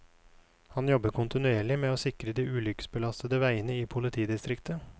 Han jobber kontinuerlig med å sikre de ulykkesbelastede veiene i politidistriktet.